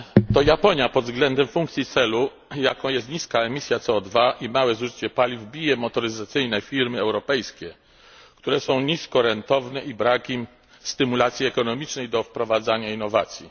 To Japonia pod względem funkcji celu, jaką jest niska emisja CO i małe zużycie paliw, bije motoryzacyjne firmy europejskie, które są niskorentowne i którym brakuje stymulacji ekonomicznej do wprowadzania innowacji.